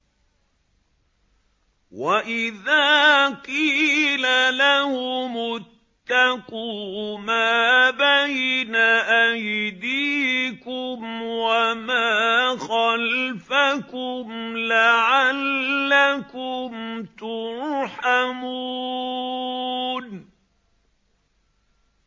وَإِذَا قِيلَ لَهُمُ اتَّقُوا مَا بَيْنَ أَيْدِيكُمْ وَمَا خَلْفَكُمْ لَعَلَّكُمْ تُرْحَمُونَ